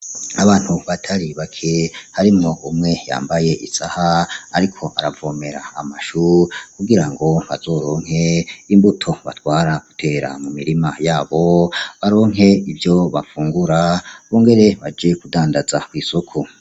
Abantu batari bake harimwo umwe yambaye isaha ariko aravomera amashu kugira ngo bazoronke imbuto batwara gutera mu mirima yabo baronke ivyo bafungura bongere baje kudandaza kw'isoko.